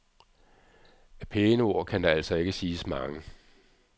Af pæne ord kan der altså ikke siges mange.